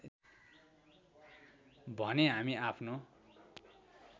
भने हामी आफ्नो